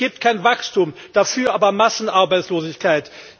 Es gibt kein Wachstum, dafür aber Massenarbeitslosigkeit.